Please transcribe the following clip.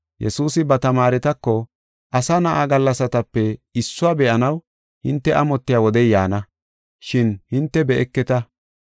Yesuusi ba tamaaretako, “Asa Na7a gallasatape issuwa be7anaw hinte amotiya wodey yaana, shin hinte be7eketa.